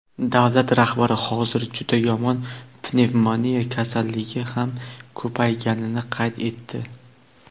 davlat rahbari hozir juda yomon pnevmoniya kasalligi ham ko‘payganini qayd etdi.